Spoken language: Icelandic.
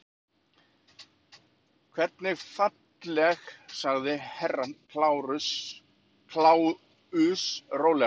Hvernig falleg sagði Herra Kláus rólega.